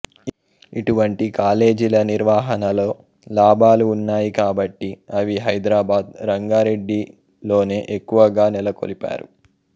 ఇటువంటి కాలేజీల నిర్వహణలో లాభాలు ఉన్నాయి కాబట్టి అవి హైదరాబాద్ రంగారెడ్డిలోనే ఎక్కువగా నెలకొల్పారు